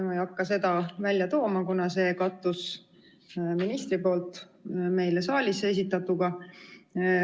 Ma ei hakka seda välja tooma, kuna see kattus ministri poolt siin saalis esitatuga.